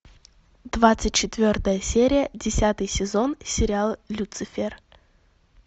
двадцать четвертая серия десятый сезон сериал люцифер